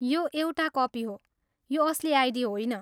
यो एउटा कपी हो, यो असली आइडी होइन।